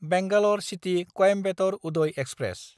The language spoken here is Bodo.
Bangalore city Coimbatore Uday express